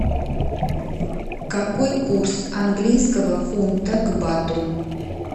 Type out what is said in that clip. какой курс английского фунта к бату